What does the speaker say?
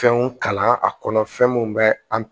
Fɛnw kalan a kɔnɔ fɛn mun bɛ an